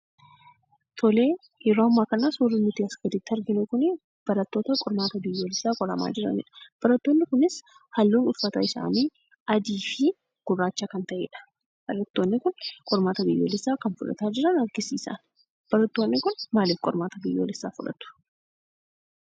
Tole, yeroo ammaa kana suurri nuti asii gaditti arginu kunii barattoota qormaata biyyaalessaa qoramanidha. Barattoonni kunis halluun uffata isaanii adiifii gurraacha kan ta'edha barattoonni kun qormaata biyyoolessaa kan fudhatan jiran agarsiisa. barattoonni kun maaliif qormaata biyyaalessaa fudhatu?